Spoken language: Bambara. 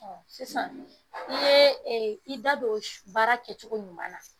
Sisan, i ye i da don baara kɛcogo ɲuman na.